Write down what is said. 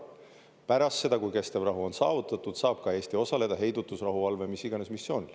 Pärast seda, kui kestev rahu on saavutatud, saab Eesti osaleda heidutusrahuvalve, mis iganes, missioonil.